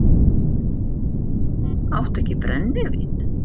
Áttu ekki brennivín?